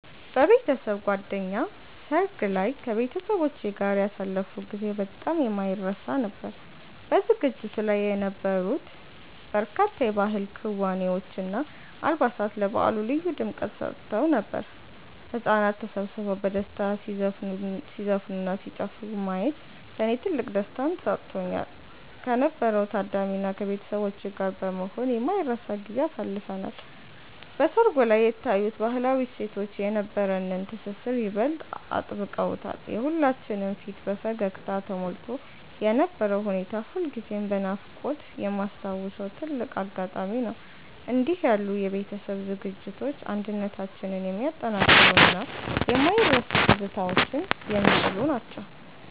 በቤተሰብ ጓደኛ ሰርግ ላይ ከቤተሰቦቼ ጋር ያሳለፍኩት ጊዜ በጣም የማይረሳ ነበር። በዝግጅቱ ላይ የነበሩት በርካታ የባህል ክዋኔዎች እና አልባሳት ለበዓሉ ልዩ ድምቀት ሰጥተውት ነበር። ህጻናት ተሰብስበው በደስታ ሲዘፍኑና ሲጨፍሩ ማየት ለኔ ትልቅ ደስታን ሰጥቶኛል። ከነበረው ታዳሚ እና ከቤተሰቦቼ ጋር በመሆን የማይረሳ ጊዜን አሳልፈናል። በሰርጉ ላይ የታዩት ባህላዊ እሴቶች የነበረንን ትስስር ይበልጥ አጥብቀውታል። የሁላችንም ፊት በፈገግታ ተሞልቶ የነበረው ሁኔታ ሁልጊዜም በናፍቆት የማስታውሰው ትልቅ አጋጣሚ ነው። እንዲህ ያሉ የቤተሰብ ዝግጅቶች አንድነታችንን የሚያጠናክሩና የማይረሱ ትዝታዎችን የሚጥሉ ናቸው።